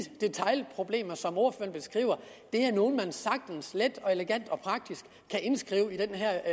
detailproblemer som ordføreren beskriver er nogle som vi sagtens let og elegant og praktisk kan indskrive i den her